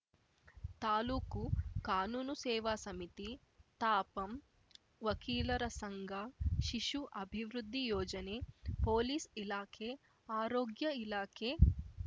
ತಾಲೂಕು ಕಾನೂನು ಸೇವಾ ಸಮಿತಿ ತಾಪಂ ವಕೀಲರ ಸಂಘ ಶಿಶು ಅಭಿವೃದ್ಧಿ ಯೋಜನೆ ಪೊಲೀಸ್‌ ಇಲಾಖೆ ಆರೋಗ್ಯ ಇಲಾಖೆ